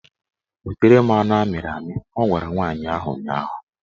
Wetara m anụ amịrị amị! Ọ gwara nwaanyị ahụ ụnyaahụ